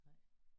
Nej